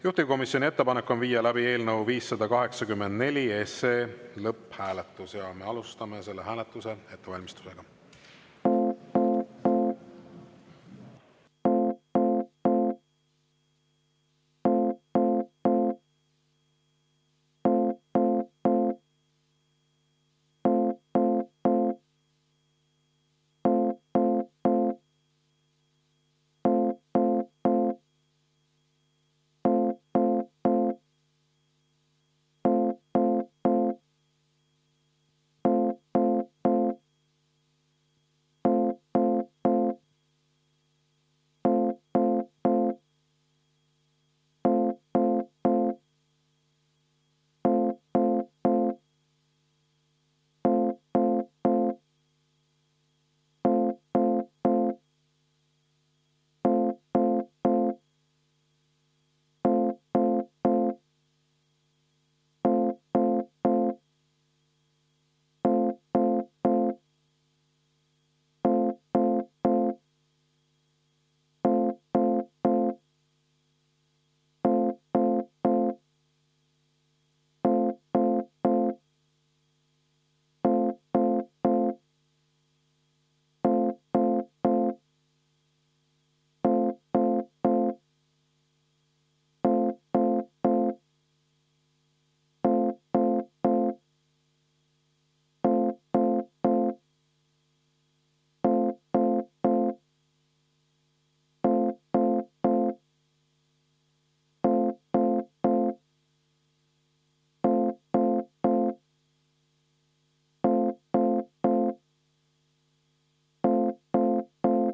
Juhtivkomisjoni ettepanek on viia läbi eelnõu 584 lõpphääletus ja me alustame selle hääletuse ettevalmistust.